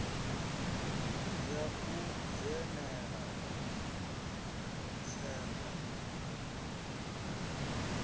ya u dzhenela tsengo ya